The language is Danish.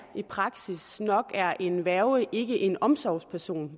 i praksis at nok er en værge ikke en omsorgsperson